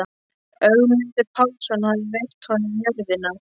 Ögmundur Pálsson hafði veitt honum jörðina.